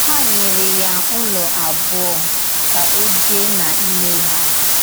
Há nyèrè ya Ụ́lọ̀ àbùọ ka ọ bìè n’ímè hà.